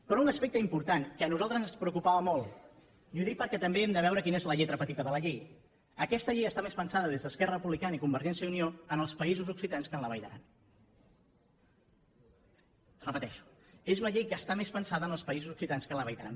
però un aspecte important que a nosaltres ens preocupava molt i ho dic perquè també hem de veure quina és la lletra petita de la llei aquesta llei està més pensada des d’esquerra republicana i convergència i unió en els països occitans que en la vall d’aran ho repeteixo és una llei que està més pensada en els països occitans que en la vall d’aran